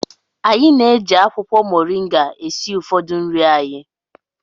Anyị na-eji akwụkwọ mọrịnga esi ụfọdụ nri anyị.